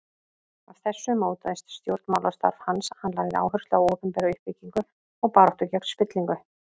Af þessu mótaðist stjórnmálastarf hans, hann lagði áherslu á opinbera uppbyggingu og baráttu gegn spillingu.